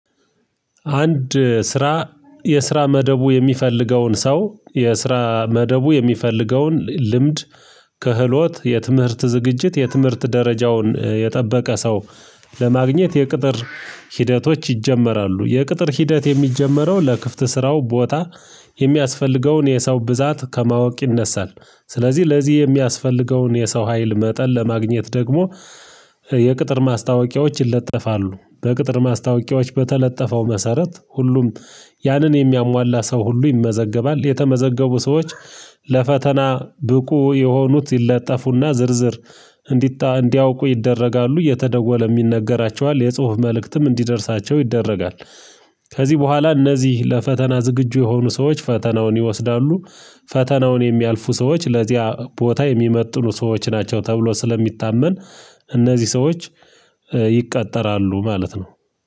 አንድ ስራ የስራ መደቡ የሚፈልገውን ሰው የስራ መደቡ የሚፈልገውን ልምድ ከህሎት የትምህርት ዝግጅት የትምህርት ደረጃውን የጠበቀ ሰው ለማግኘት የቅጥር ሂደቶች ይጀመራሉ የቅጥር ሂደት የሚጀመረው ለክፍት ስራው ቦታ የሚያስፈልገውን የሰው ብዛት ከማወቅ ይነሳል ስለዚህ ለዚህ የሚያስፈልገውን የሰው ሀይል መጠን ለማግኘት ደግሞ የቅጥር ማስታወቂያዎች ይለጠፋሉ በቅጥር ማስታወቂያዎች በተለጠፈው መሰረት ሁሉም ያንን የሚያሟላ ሰው ሁሉ ይመዘገባል የተመዘገቡ ሰዎች ለፈተና ብቁ የሆኑት ይለጠፉና ዝርዝር እንዲታ እንዲያውቁ ይደረጋሉ እየተደወለም ይነገራቸዋል የጽሁፍ መልእክትም እንዲደርሳቸው ይደረጋል። ከዚህ በኋላ እነዚህ ለፈተና ዝግጁ የሆኑ ሰዎች ፈተናውን ይወስዳሉ። ፈተናውን የሚያልፉ ሰዎች ለዚያ ቦታ የሚመጥኑ ሰዎች ናቸው ተብሎ ስለሚታመን እነዚህ ሰዎች ይቃጠራሉ ማለት ነው።